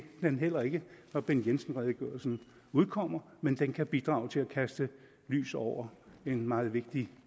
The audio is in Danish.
den heller ikke når bent jensen redegørelsen udkommer men den kan bidrage til at kaste lys over en meget vigtig